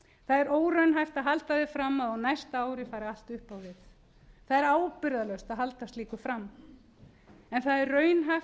er óraunhæft að halda því fram að á næsta ári fari allt upp á við það er ábyrgðarlaust að halda slíku fram en það er raunhæft að